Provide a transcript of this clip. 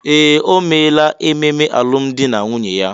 Ee! O meela ememe alụmdi na nwunye ya.